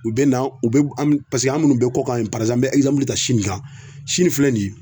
U be na u be an be paseke an munnu be kɔkan yen parizanpulu n be ɛzanpulu ta sini kan sini filɛ nin ye